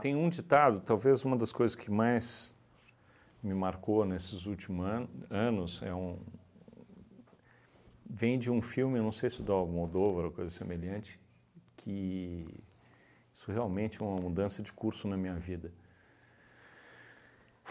um ditado, talvez uma das coisas que mais me marcou nesses último ano anos é um, vem de um filme, eu não sei se do Almodóvar ou coisa semelhante, que isso realmente é uma mudança de curso na minha vida.